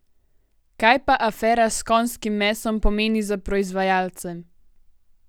Kaj pa afera s konjskim mesom pomeni za proizvajalce?